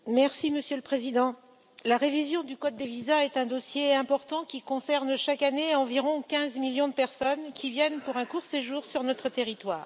Monsieur le Président, la révision du code des visas est un dossier important, qui concerne, chaque année, environ 15 millions de personnes qui viennent pour un court séjour sur notre territoire.